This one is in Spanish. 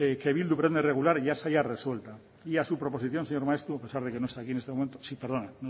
que bildu pretende regular ya se halla resuelta y a su proposición señor maeztu a pesar de que no está aquí en estos momentos sí perdona